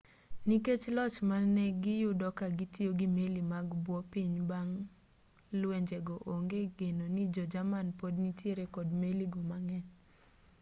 nikech loch mane giyudo ka gitiyo gi meli mag bwo pi bang' lwenjego onge geno ni jo-jerman pod nitiere kod meli go mang'eny